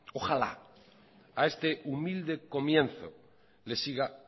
ojalá a este humilde comienzo le siga